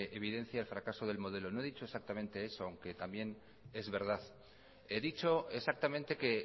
evidencia el fracaso del modelo no he dicho exactamente eso aunque también es verdad he dicho exactamente que